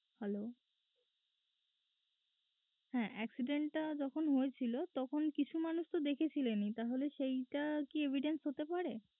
Hello হ্যাঁ accident টা যখন হয়েছিল তখন কিছু মানুষ তো দেখেছিলেনই তাহলে সেইট কি evidence হতে পারে?